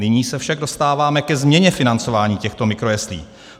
Nyní se však dostáváme ke změně financování těchto mikrojeslí.